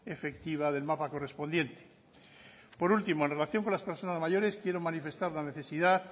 efectiva del mapa correspondiente por último en relación con las personas mayores quiero manifestar la necesidad